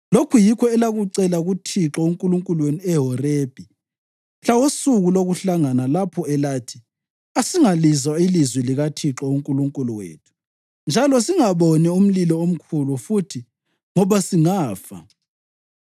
Lokhu yikho elakucela kuThixo uNkulunkulu wenu eHorebhi mhla wosuku lokuhlangana lapho elathi, ‘Asingalizwa ilizwi likaThixo uNkulunkulu wethu njalo singaboni umlilo omkhulu futhi, ngoba singafa.’